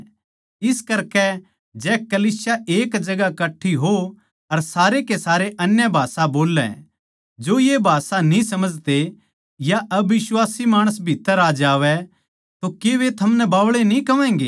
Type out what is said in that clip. इस करकै जै कलीसिया एक जगहां कट्ठी हो अर सारे के सारे अन्य भाषां बोल्लै जो ये भाषा न्ही समझते या अबिश्वासी माणस भीत्त्तर आ जावै तो के वे थमनै बावळे न्ही कहवैगें